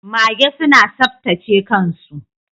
Mage suna saptace kan su.